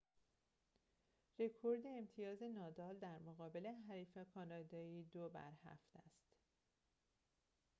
رکورد امتیاز نادال در مقابل حریف کانادایی ۷-۲ است